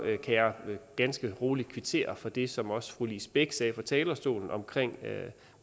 kan jeg ganske roligt kvittere for det som også fru lise bech sagde fra talerstolen om